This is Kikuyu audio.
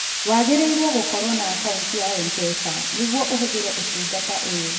Wagĩrĩirũo gũkorũo na akaũntĩ ya M-pesa nĩguo ũhũthĩre ũtungata ũyũ.